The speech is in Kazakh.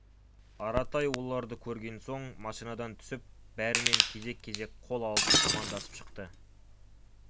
аратай оларды көрген соң машинадан түсіп бәрімен кезек-кезек қол алысып амандасып шықты